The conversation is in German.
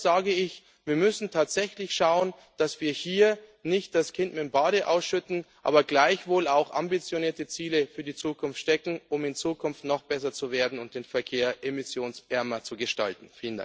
Deshalb sage ich Wir müssen tatsächlich schauen, dass wir hier nicht das Kind mit dem Bade ausschütten, uns aber gleichwohl auch ambitionierte Ziele für die Zukunft stecken, um in Zukunft noch besser zu werden und den Verkehr emissionsärmer zu gestalten.